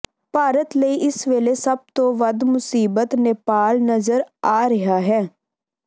ਭਾਰਤ ਲਈ ਇਸ ਵੇਲੇ ਸਭ ਤੋਂ ਵੱਧ ਮੁਸੀਬਤ ਨੇਪਾਲ ਨਜ਼ਰ ਆ ਰਿਹਾ ਹੈ